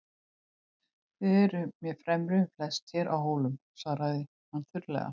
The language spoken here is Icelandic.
Þið eruð mér fremri um flest hér á Hólum, svaraði hann þurrlega.